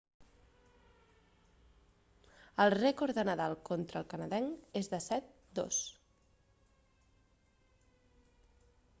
el rècord de nadal conta el canadenc és de 7-2